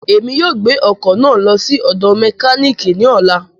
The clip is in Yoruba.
Emi yóò gbe ọkọ naa lọ si ọdọ mekaniki ni ọla.